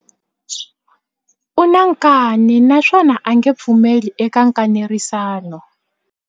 U na nkani naswona a nge pfumeli eka nkanerisano.